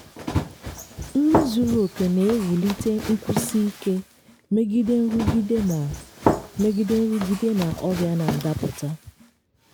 nri zuru oke na-ewulite nkwụsi ike megide nrụgide na megide nrụgide na ọrịa na-adapụta.